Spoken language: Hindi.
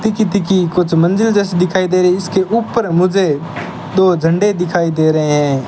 तीकी-तीकी कुछ मंदिर जैसी दिखाई दे रही। इसके ऊपर मुझे दो झंडे दिखाई दे रहे हैं।